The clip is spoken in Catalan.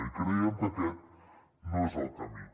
i creiem que aquest no és el camí